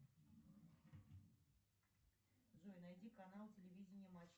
джой найди канал телевидение матч